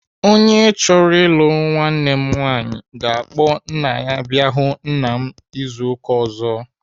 Onye chọrọ ịlụ nwanne m nwaanyi ga-akpọ nna ya abịa ahụ nna m izu ụka ọzọ.